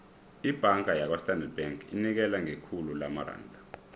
ibhanga yakwastandard bank inikela ngekhulu lamaranda